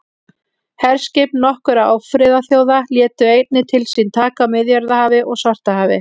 herskip nokkurra ófriðarþjóða létu einnig til sín taka á miðjarðarhafi og svartahafi